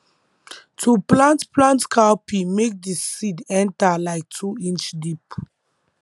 to plant plant cowpea make d seed enter like two inch deep